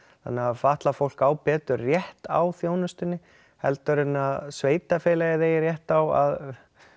þannig að fatlað fólk á betur rétt á þjónustunni heldur en að sveitafélagið eigi rétt á að